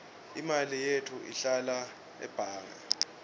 imali yetfu ihlala ebhange